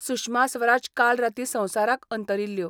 सुषमा स्वराज काल रातीं संवसाराक अंतरिल्ल्यो.